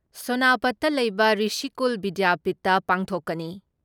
ꯁꯣꯅꯥꯄꯠꯇ ꯂꯩꯕ ꯔꯤꯁꯤꯀꯨꯜ ꯕꯤꯗ꯭ꯌꯥꯄꯤꯠꯇ ꯄꯥꯡꯊꯣꯛꯀꯅꯤ ꯫